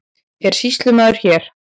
Er sýslumaður hér?